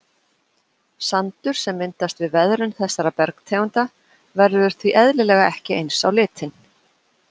Sandur sem myndast við veðrun þessara bergtegunda verður því eðlilega ekki eins á litinn.